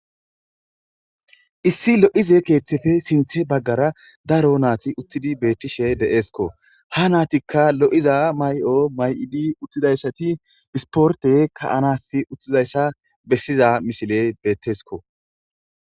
Issi lo7ize keeththefe sinthe baggara daro naati utthidi beettishe deeesko ha naatikka lo7'za may'o may7idi uttidayssati isporte kaanas uthizayssa bessiza misiley beettesko.